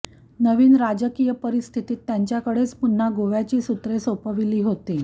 नवीन राजकीय परिस्थितीत त्यांच्याकडेच पुन्हा गोव्याची सूत्रे सोपवली होती